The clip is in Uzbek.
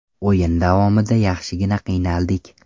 O‘yin davomida yaxshigina qiynaldik.